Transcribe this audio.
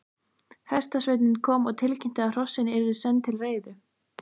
Hestasveinninn kom og tilkynnti að hrossin yrðu senn til reiðu.